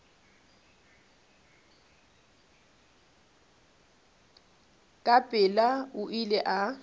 ka pela o ile a